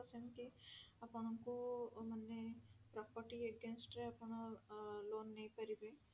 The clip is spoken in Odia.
ତ ସେମିତି ଆପଣଙ୍କୁ ମାନେ property against ରେ ଆପଣ ଅ loan ନେଇପାରିବେ